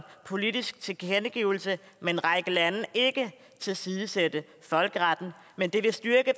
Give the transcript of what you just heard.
politisk tilkendegivelse med en række lande ikke tilsidesætte folkeretten men det vil styrke